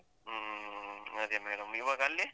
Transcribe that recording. ಹ್ಮ್ ಅದೆ madam ಇವಾಗ ಅಲ್ಲಿ?